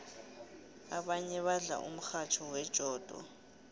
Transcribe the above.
abanye badla umratha wejodo